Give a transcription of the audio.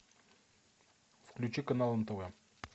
включи канал нтв